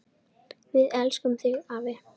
Við elskum þig, afi.